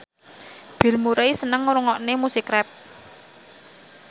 Bill Murray seneng ngrungokne musik rap